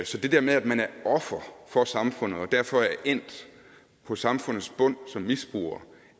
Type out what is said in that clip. så det med at man er offer for samfundet og derfor er endt på samfundets bund som misbruger